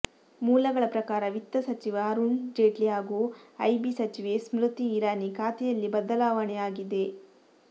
ಮೂಲಗಳ ಪ್ರಕಾರ ವಿತ್ತ ಸಚಿವ ಅರುಣ್ ಜೇಟ್ಲಿ ಹಾಗೂ ಐಬಿ ಸಚಿವೆ ಸ್ಮೃತಿ ಇರಾನಿ ಖಾತೆಯಲ್ಲಿ ಬದಲಾವಣೆಯಾಗಿದೆ